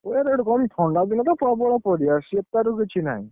ଇଆଡେ ଗୋଟେ କହନ୍ତି ଥଣ୍ଡା ଦିନରେ ତ ପ୍ରବଳ ପାରିବା ଶୀତରୁ କିଛି ନାହିଁ।